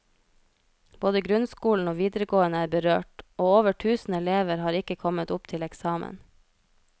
Både grunnskolen og videregående er berørt, og over tusen elever har ikke kommet opp til eksamen.